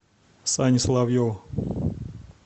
сане соловьеву